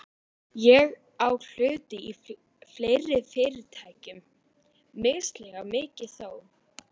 Ég á hluti í fleiri fyrirtækjum, misjafnlega mikið þó.